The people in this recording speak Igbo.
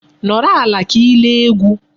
Nọrọ ala ka ị lee egwu.